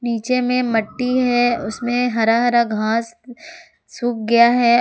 नीचे में मट्टी है उसमें हरा हरा घास सूख गया है।